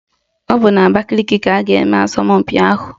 Ọ bụ n'Abakaliki ka a ga-eme asọmpi ahụ.